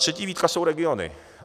Třetí výtka jsou regiony.